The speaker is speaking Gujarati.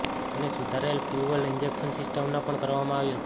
અને સુધારેલ ફ્યૂઅલ ઇન્જેક્શન સિસ્ટમના પણ કરવામાં આવી હતી